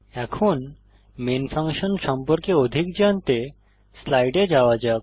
এখন main function সম্পর্কে অধিক জানতে স্লাইডে যাওয়া যাক